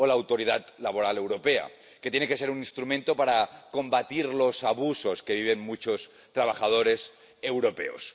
o la Autoridad Laboral Europea, que tiene que ser un instrumento para combatir los abusos que viven muchos trabajadores europeos.